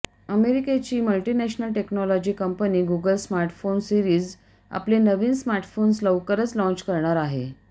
अमेरिकेची multinational technology company Google smartphone series आपले नवे स्मार्टफोन्स लवकरच लाँच करणार आहे